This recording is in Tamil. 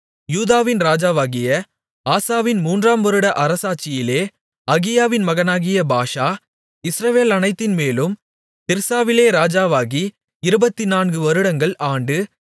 யூதாவின் ராஜாவாகிய ஆசாவின் மூன்றாம் வருட அரசாட்சியிலே அகியாவின் மகனாகிய பாஷா இஸ்ரவேலனைத்தின் மேலும் திர்சாவிலே ராஜாவாகி 24 வருடங்கள் ஆண்டு